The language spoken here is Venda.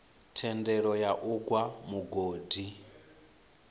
thendelo ya u gwa mugodi